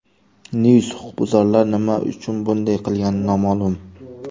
News Huquqbuzarlar nima uchun bunday qilgani noma’lum.